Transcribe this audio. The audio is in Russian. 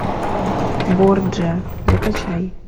борджиа закачай